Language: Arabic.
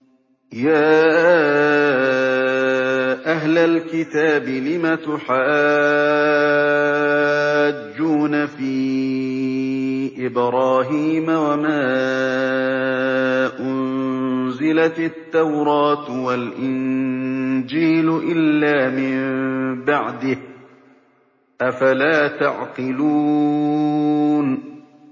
يَا أَهْلَ الْكِتَابِ لِمَ تُحَاجُّونَ فِي إِبْرَاهِيمَ وَمَا أُنزِلَتِ التَّوْرَاةُ وَالْإِنجِيلُ إِلَّا مِن بَعْدِهِ ۚ أَفَلَا تَعْقِلُونَ